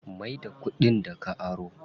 Mai da kuɗin da ka aro.